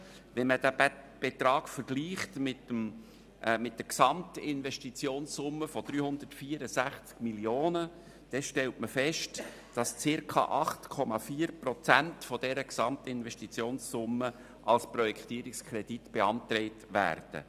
Wenn man den Betrag mit der Gesamtinvestitionssumme von 364 Mio. vergleicht, stellt man fest, dass circa 8,4 Prozent der Gesamtinvestitionssumme als Projektierungskredit beantragt werden.